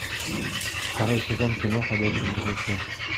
второй сезон кино ходячие мертвецы